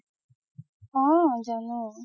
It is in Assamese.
অ জানো